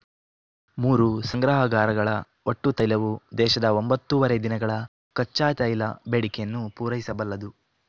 ಮೂರೂ ಸಂಗ್ರಹಾಗಾರಗಳ ಒಟ್ಟು ತೈಲವು ದೇಶದ ಒಂಬತ್ತೂವರೆ ದಿನಗಳ ಕಚ್ಚಾತೈಲ ಬೇಡಿಕೆಯನ್ನು ಪೂರೈಸಬಲ್ಲದು